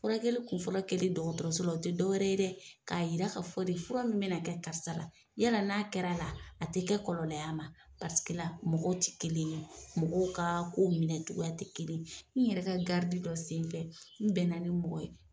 Furakɛli kunfɔlɔ keli dɔgɔtɔrɔsola o ti dɔ wɛrɛ dɛ k'a yira ka fɔ de fura min be na kɛ karisa la yala n'a kɛra la a te kɛ kɔlɔlɔ y'a ma paseke la mɔgɔw ti kelen ye mɔgɔw ka ko minɛ togoya te kelen ye n yɛrɛ ka garidi dɔ sen fɛ n bɛna ni mɔgɔ ye